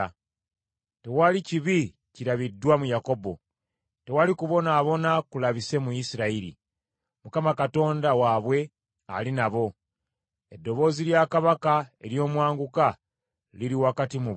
“Tewali kibi kirabiddwa mu Yakobo, tewali kubonaabona kulabise mu Isirayiri. Mukama Katonda waabwe ali nabo; eddoboozi lya kabaka ery’omwanguka liri wakati mu bo.